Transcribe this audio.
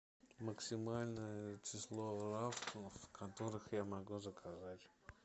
максимальное число которых я могу заказать